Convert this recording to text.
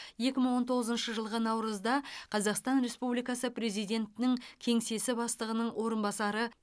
екі мың он тоғызыншы жылғы наурызда қазақстан республикасы президентінің кеңсесі бастығының орынбасары